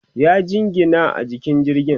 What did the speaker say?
ya jingina a jikin jirgin